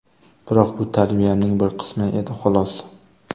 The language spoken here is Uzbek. Biroq bu tarbiyamning bir qismi edi, xolos.